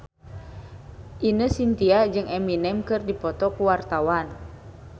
Ine Shintya jeung Eminem keur dipoto ku wartawan